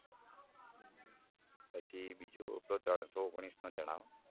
પછી પેલો ત્રણસો ઓગણીસનો જણાવો